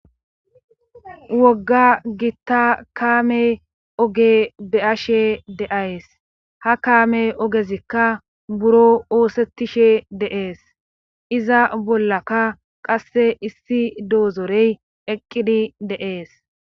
Wogga gitta kaame oge be'ashe deays ha kaame ogezikka buro oosettishe deees iza bollaka qasse issi doozorey eqqidi deees